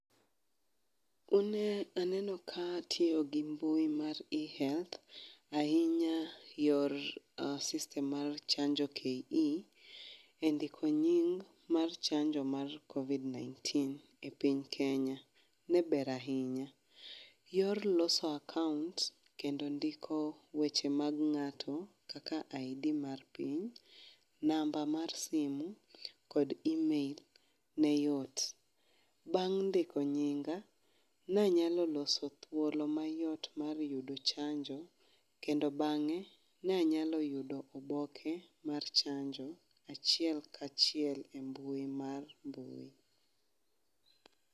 Une aneno ka tiyo gi mbui mar ehealth ahinya yor system mar chanjo ke, e ndiko nying mar chanjo my covid Kenya, ne ber ahinya. Yor loso account kendo ndiko weche mag ng’ato kaka ID mar piny, namba mar simu kod email ne yot. Bang’ ndiko nyinga, nanyalo loso thuolo mayot mar yudo chanjo kendo bang’e, nanyalo yudi oboke mar chanjo achiel kachiel e mbui mar mbui.